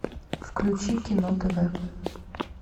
включи кино тв